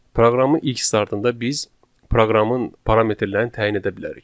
Proqramın ilk startında biz proqramın parametrlərini təyin edə bilərik.